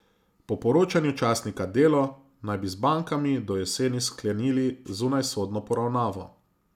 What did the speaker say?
Po poročanju časnika Delo naj bi z bankami do jeseni sklenili zunajsodno poravnavo.